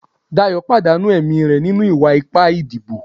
Dayo pàdánù ẹ̀mí re ninu iwa-ipa ìdíbò